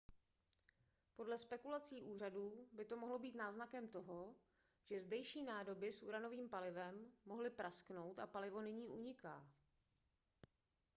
podle spekulací úřadů by to mohlo být náznakem toho že zdejší nádoby s uranovým palivem mohly prasknout a palivo nyní uniká